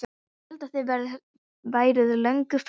Ég hélt að þið væruð löngu farin